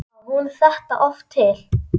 Á hún þetta oft til?